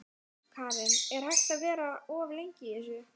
Karen: Er hægt að vera of lengi í þessu?